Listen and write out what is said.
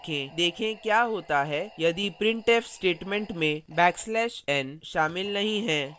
देखें see होता है यदि printf statement में \n शामिल नहीं है